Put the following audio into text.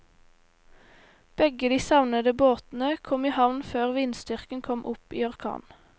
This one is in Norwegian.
Begge de savnede båtene kom i havn før vindstyrken kom opp i orkan.